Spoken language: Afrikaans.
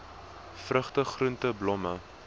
vrugte groente blomme